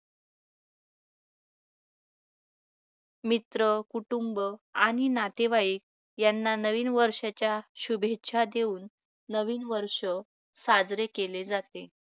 मित्र कुटुंब आणि नातेवाईक यांना नवीन वर्षाच्या शुभेच्छा देऊन नवीन वर्ष साजरे केले जाते